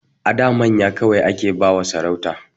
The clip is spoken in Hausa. A da manya kawai ake ba wa sarauta